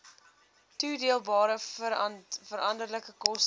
toedeelbare veranderlike koste